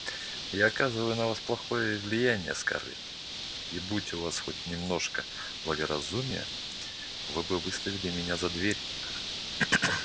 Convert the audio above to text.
я оказываю на вас плохое влияние скарлетт и будь у вас хоть немножко благоразумия вы бы выставили меня за дверь